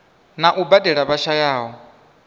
na u badela vha shayaho